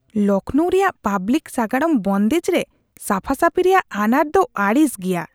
ᱞᱚᱠᱷᱱᱳ ᱨᱮᱭᱟᱜ ᱯᱟᱵᱞᱤᱠ ᱥᱟᱜᱟᱲᱚᱢ ᱵᱚᱱᱫᱮᱡ ᱨᱮ ᱥᱟᱯᱷᱟᱼᱥᱟᱹᱯᱷᱤ ᱨᱮᱭᱟᱜ ᱟᱱᱟᱴ ᱫᱚ ᱟᱹᱲᱤᱥ ᱜᱮᱭᱟ ᱾